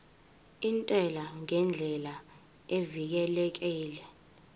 intela ngendlela evikelekile